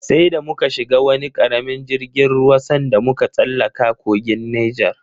Sai da muka shiga wani karamin jirgin ruwa sanda muka tsallaka kogin Nijar.